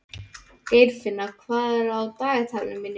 Geirfinna, hvað er á dagatalinu mínu í dag?